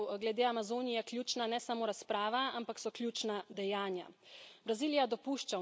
Zato je po mojem mnenju glede Amazonije ključna ne samo razprava, ampak so ključna dejanja.